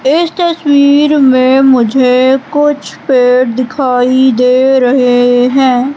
इस तस्वीर मे मुझे कुछ पेड़ दिखाई दे रहे है।